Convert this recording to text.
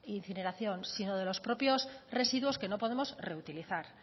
incineración sino de los propios residuos que no podemos reutilizar